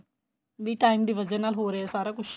B time ਦੀ ਵਜਾ ਨਾਲ ਹੋ ਰਿਹਾ ਸਾਰਾ ਕੁੱਝ